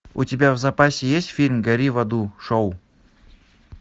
у тебя в запасе есть фильм гори в аду шоу